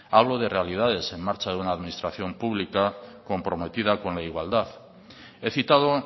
hablo de realidades en marcha de una administración pública comprometida con la igualdad he citado